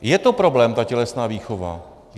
Je to problém, ta tělesná výchova.